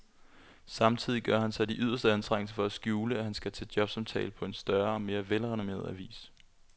Samtidig gør han sig de yderste anstrengelser for at skjule, at han skal til jobsamtale på en større og mere velrenommeret avis.